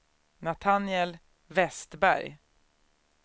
Natanael Vestberg